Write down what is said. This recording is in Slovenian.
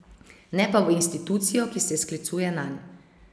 Ne pa v institucijo, ki se sklicuje nanj.